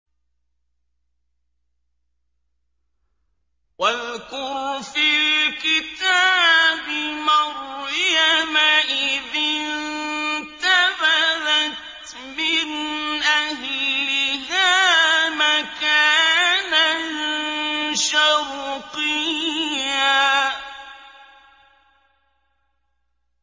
وَاذْكُرْ فِي الْكِتَابِ مَرْيَمَ إِذِ انتَبَذَتْ مِنْ أَهْلِهَا مَكَانًا شَرْقِيًّا